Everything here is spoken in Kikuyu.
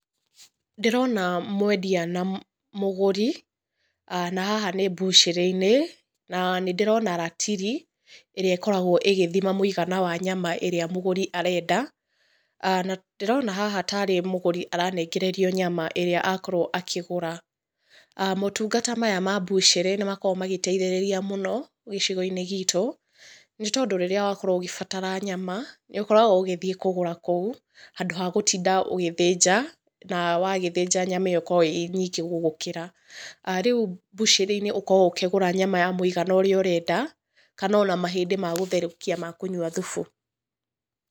Ndĩrona mwendia na mũgũri, na haha nĩ mbucĩrĩ-inĩ, na nĩ ndĩrona ratiri, ĩrĩa ĩkoragwo ĩgĩthima mũigana wa nyama ĩrĩa mũgũri arenda, aah. Na ndĩrona haha tarĩ mũgũri aranengererio nyama ĩrĩa akorwo akĩgũra. Motungata maya ma mbucĩrĩ nĩ makoragwo magĩteithĩrĩria mũno gĩcigo-inĩ giitũ, nĩ tondũ rĩrĩa wakorwo ũgĩbatara nyama, nĩ ũkoragwo ũgĩthiĩ kũgũra kũu, handũ ha gũtinda ũgĩthĩnja, na wagĩthĩnja nyama ĩyo ĩkoragwo ĩĩ nyingĩ gũgũkĩra. Rĩu mbucĩrĩ-inĩ ũkoragwo ũkĩgũra nyama ya mũigana ũrĩa ũrenda, kana ona mahĩndĩ ma gũtherũkia ma kũnyua thubu.